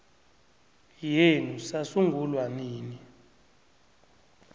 yenu sasungulwa nini